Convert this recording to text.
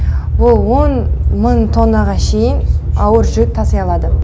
бұл он мың тоннаға шейін ауыр жүк таси алады